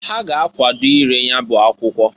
Ha ga akwado ire nyabụ akwụkwọ.